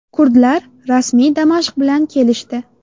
Kurdlar rasmiy Damashq bilan kelishdi.